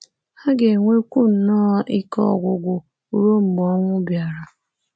Ha ga-enwekwu nnọọ ike ọgwụgwụ ruo mgbe ọnwụ bịara.